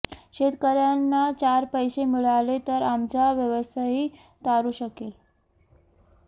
शेतकर्यांना चार पैसे मिळाले तर आमचा व्यवसायही तारू शकेल